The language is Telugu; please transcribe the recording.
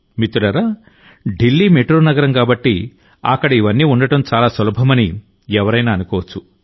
మిత్రులారాఢిల్లీ మెట్రో నగరం కాబట్టి అక్కడ ఇవన్నీ ఉండటం చాలా సులభమణి ఎవరైనా అనుకోవచ్చు